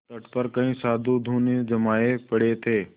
तट पर कई साधु धूनी जमाये पड़े थे